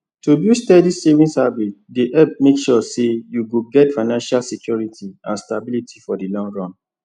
to build steady savings habit dey help make sure say you go get financial security and stability for the long run